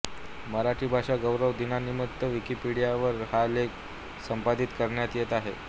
मराठी भाषा गौरव दिनानिमित्त विकिपिडियावर हा लेख संपादित करण्यात येत आहे